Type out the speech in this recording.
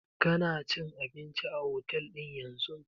Kana cin abinci a otel ɗin yanzun?